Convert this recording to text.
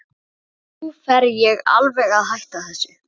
En nú fer ég alveg að hætta þessu.